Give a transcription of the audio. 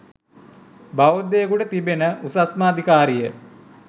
බෞද්ධයෙකුට තිබෙන උසස්ම අධිකාරිය